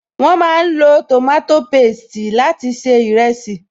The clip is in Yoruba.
Wọn máa ń lo tòmátò pésti láti se ìrẹsì